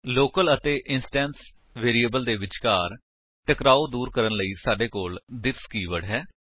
local ਅਤੇ instance variables ਦੇ ਵਿਚਕਾਰ ਟਕਰਾਓ ਦੂਰ ਕਰਨ ਲਈ ਸਾਡੇ ਕੋਲ ਥਿਸ ਕੀਵਰਡ ਹੈ